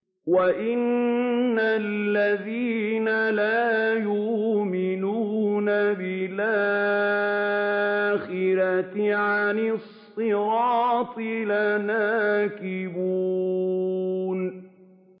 وَإِنَّ الَّذِينَ لَا يُؤْمِنُونَ بِالْآخِرَةِ عَنِ الصِّرَاطِ لَنَاكِبُونَ